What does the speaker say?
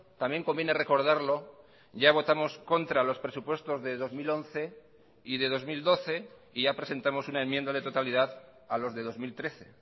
también conviene recordarlo ya votamos contra los presupuestos de dos mil once y de dos mil doce y ya presentamos una enmienda de totalidad a los de dos mil trece